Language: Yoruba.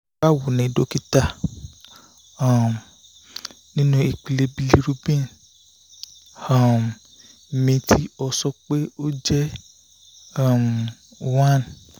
bawo ni dokita um ninu ipele bilirubin um mi o ti sọ pe o jẹ um 1